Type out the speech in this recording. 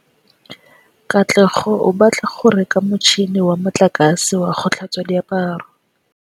Katlego o batla go reka motšhine wa motlakase wa go tlhatswa diaparo.